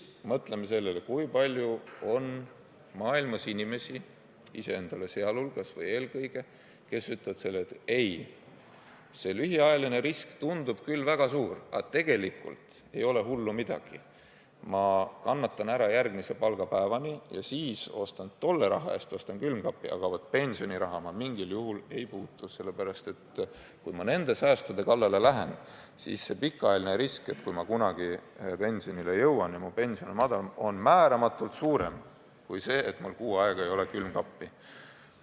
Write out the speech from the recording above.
Mõtleme nüüd sellele, kui palju on maailmas neid inimesi, kes niisuguses olukorras ütleksid, et ei, see lühiajaline risk tundub küll väga suur, aga tegelikult pole hullu midagi, ma kannatan järgmise palgapäevani ära ja siis ostan uue külmkapi, aga pensioniraha ma mitte mingil juhul ei puutu, sest kui ma säästude kallale lähen, siis pikaajaline risk, et kui ma kunagi pensionile jõuan ja mu pension on väike, on määramatult suurem kui see, et mul kuu aega ei ole külmkappi.